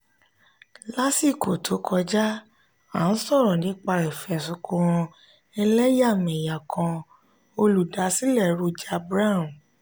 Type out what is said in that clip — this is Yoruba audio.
lásìkò tó kọjá a n sọrọ nípa ifẹsunkan ẹlẹyamẹya kan olùdásílẹ̀ roger brown.